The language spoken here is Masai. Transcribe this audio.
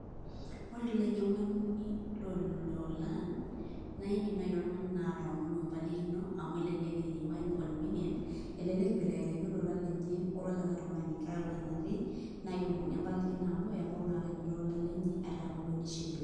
Wore toloinyiangani loo lolan, naa iindim naji oltungani naa atoomonu embalikino amu elelek etijingua]cs] inconvenience, elelek ibelekenyaki olola lenye ololikae tungani, kake wore enatii naa keomonini embalikino amu ebau naa akeenye iloola lenye ata hoo duo nishiliwe.